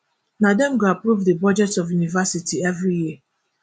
na dem go approve di budget of university evri year